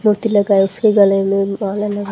मोती लगा उसके गले में माला लगा--